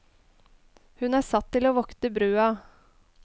Hun er satt til å vokte brua.